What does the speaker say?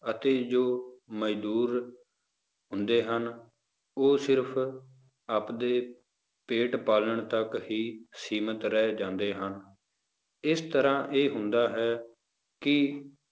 ਅਤੇ ਜੋ ਮਜ਼ਦੂਰ ਹੁੰਦੇ ਹਨ, ਉਹ ਸਿਰਫ਼ ਆਪਦੇ ਪੇਟ ਪਾਲਣ ਤੱਕ ਹੀ ਸੀਮਿਤ ਰਹਿ ਜਾਂਦੇ ਹਨ, ਇਸ ਤਰ੍ਹਾਂ ਇਹ ਹੁੰਦਾ ਹੈ ਕਿ